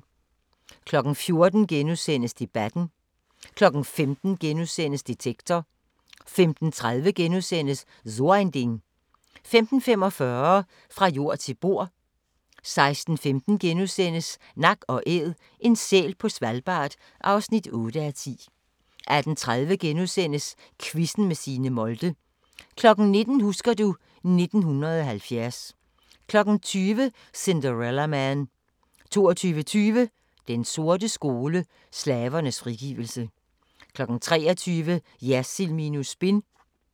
14:00: Debatten * 15:00: Detektor * 15:30: So ein Ding * 15:45: Fra jord til bord 16:15: Nak & Æd – en sæl på Svalbard (8:10)* 18:30: Quizzen med Signe Molde * 19:00: Husker du ... 1970 20:00: Cinderella Man 22:20: Den sorte skole: Slavernes frigivelse 23:00: Jersild minus spin